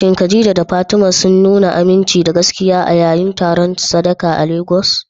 Shin Khadija da Fatima sun nuna aminci da gaskiya a yayin taron sadaka a Legas?